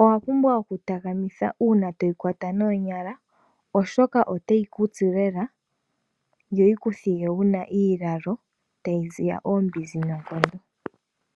owa pumbwa oku takamitha uuna toyi kwata noonyala oshoka otayi kutsu lela yo yikuthige wuna iilalo tayi ziya oombinzi noonkondo.